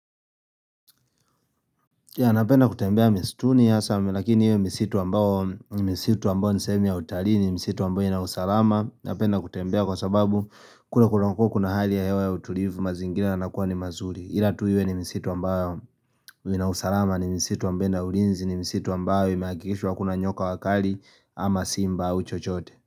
Yeah napenda kutembea misituni sana lakini iwe misitu ambayo misitu ambayo ni sehemu ya utalii, ni misitu ambayo ina usalama. Napenda kutembea kwa sababu kule kunakuwa kuna hali ya hewa ya utulivu mazingira yanakuwa ni mazuri. Ila tu iwe ni misitu ambayo ina usalama, ni misitu ambayo ina ulinzi, ni misitu ambayo imehakikishwa hakuna nyoka wakali ama simba au chochote.